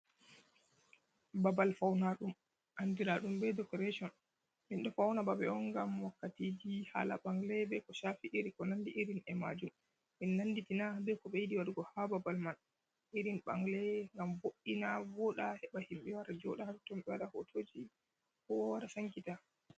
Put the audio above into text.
Babal fauna ɗum andira ɗum be dekoreshon. Min ɗo fauna babe on ngam wakkatiji hala ɓangle, be ko shafi iri ko nandi irin e majum. Min nanditina ɓe ko ɓe yiɗi waɗugo ha babal man, irin ɓangle gam mbo'ina vooɗa heɓa himɓe wara jooɗa ha totton ɓe waɗa hotoji, kowa wara sankita.